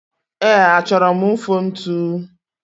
Ee, achọrọ m mfontu?